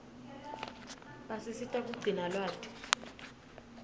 basisita kugcina lwati